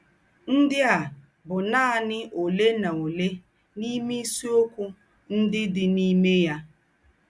Ńdị a bụ̀ nánị òlé nà òlé n’ìmé ìsìokwu ńdị dị n’ìmé yà.